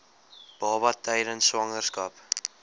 baba tydens swangerskap